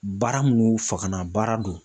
Baara mun fagana baara do.